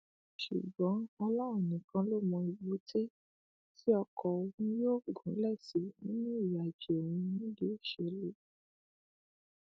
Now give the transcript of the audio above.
ṣùgbọn ọlọrun nìkan ló mọ èbúté tí ọkọ òun yóò gúnlẹ sí nínú ìrìnàjò òun nídìí òṣèlú